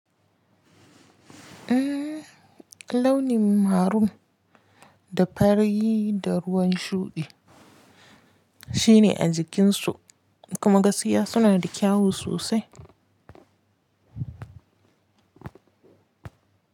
Eh launin marun da fari da ruwan shuɗi shine a jikinsu kuma gaskiya suna da kyawu sosai.